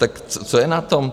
Tak co je na tom?